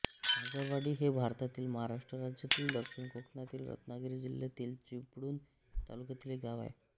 आगरवाडी हे भारतातील महाराष्ट्र राज्यातील दक्षिण कोकणातील रत्नागिरी जिल्ह्यातील चिपळूण तालुक्यातील एक गाव आहे